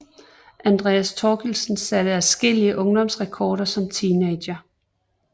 Andreas Thorkildsen satte adskillige ungdomsrekorder som teenager